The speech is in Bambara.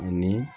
Ani